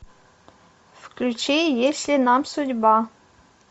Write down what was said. включи если нам судьба